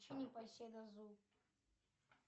включи непоседа зуб